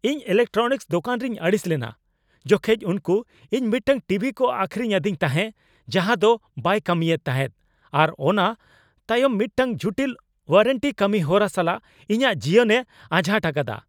ᱤᱧ ᱤᱞᱮᱠᱴᱨᱚᱱᱤᱠᱥ ᱫᱚᱠᱟᱱ ᱨᱤᱧ ᱟᱹᱲᱤᱥ ᱞᱮᱱᱟ ᱡᱚᱠᱷᱮᱡ ᱩᱱᱠᱩ ᱤᱧ ᱢᱤᱫᱴᱟᱝ ᱴᱤᱵᱷᱤ ᱠᱚ ᱟᱹᱠᱷᱨᱤᱧ ᱟᱹᱫᱤᱧ ᱛᱟᱦᱮ ᱡᱟᱦᱟᱸ ᱫᱚ ᱵᱟᱭ ᱠᱟᱹᱢᱤᱭᱮᱫ ᱛᱟᱦᱮᱫ ᱟᱨ ᱚᱱᱟ ᱛᱟᱭᱚᱢ ᱢᱤᱫᱴᱟᱝ ᱡᱩᱴᱤᱞ ᱳᱣᱟᱨᱮᱱᱴᱤ ᱠᱟᱹᱢᱤ ᱦᱚᱨᱟ ᱥᱟᱞᱟᱜ ᱤᱧᱟᱹᱜ ᱡᱤᱭᱚᱱᱮ ᱟᱡᱷᱟᱴ ᱟᱠᱟᱫᱟ ᱾